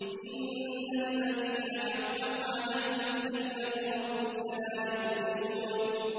إِنَّ الَّذِينَ حَقَّتْ عَلَيْهِمْ كَلِمَتُ رَبِّكَ لَا يُؤْمِنُونَ